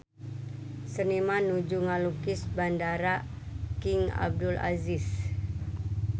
Seniman nuju ngalukis Bandara King Abdul Aziz